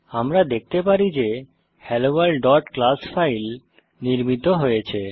আমরা দেখতে পারি যে helloworldক্লাস ফাইল নির্মিত হয়েছে